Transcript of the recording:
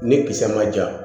Ni kisɛ ma ja